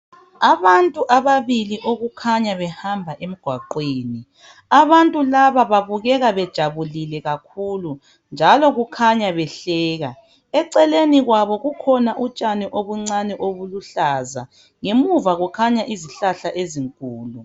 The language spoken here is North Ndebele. Abantu ababili okukhanya behamba emgwaqweni, abantu babukeka bejabulile kakhulu njalo kukhanya behleka .Eceleni kwabo kukhona utshani obuncani obuluhlaza. Ngemuva kukhanya izihlahla ezinkulu.